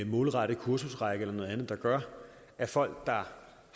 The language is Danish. målrettet kursusrække eller noget andet der gør at folk der